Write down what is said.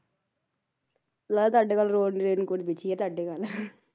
ਲੱਗਦਾ ਤੁਹਾਡੇ ਵੱਲ road rain coat ਵਿਛੀ ਆ ਤੁਹਾਡੇ ਵੱਲ